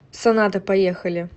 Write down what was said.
соната поехали